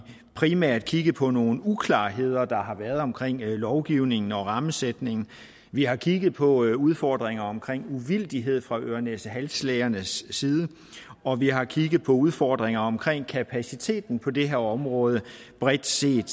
primært kigget på nogle uklarheder der har været omkring lovgivningen og rammesætningen vi har kigget på udfordringer omkring uvildighed fra ørenæsehalslægernes side og vi har kigget på udfordringer omkring kapaciteten på det her område bredt set